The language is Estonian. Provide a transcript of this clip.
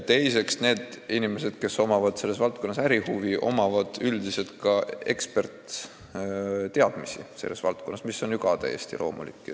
Teiseks, inimestel, kellel on selles valdkonnas ärihuvi, on üldiselt selles valdkonnas ka eksperditeadmisi, mis on ju täiesti loomulik.